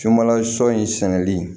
Sunbala sɔ in sɛnɛli